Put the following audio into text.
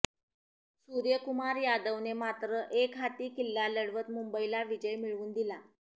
सूर्यकुमार यादवने मात्र एकहाती किल्ला लढवत मुंबईला विजय मिळवून दिला